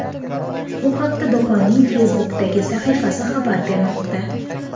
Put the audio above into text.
Bu haqda do‘konning Facebook’dagi sahifasi xabar bermoqda .